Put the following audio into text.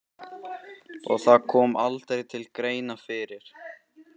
Og það kom aldrei til greina fyrir